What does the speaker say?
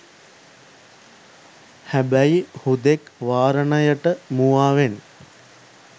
හැබැයි හුදෙක් වාරණයට මුවාවෙන්